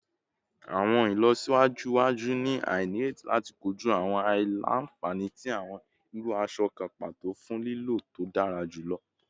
Awọn ilọsiwaju iwaju ni a nireti lati koju awọn aila-nfani ti awọn iru aṣọ kan pato fun lilo to dara julọ